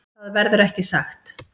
Það verður ekki sagt.